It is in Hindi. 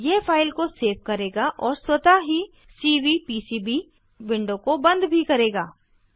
यह फाइल को सेव करेगा और स्वतः ही सीवीपीसीबी विंडो को बंद भी करेगा